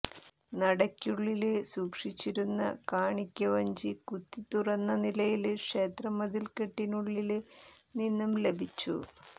നടയ്ക്കുളളില് സൂക്ഷിച്ചിരുന്ന കാണിക്കവഞ്ചി കുത്തിത്തുറന്ന നിലയില് ക്ഷേത്ര മതില്ക്കെട്ടിനുളളില് നിന്നും ലഭിച്ചു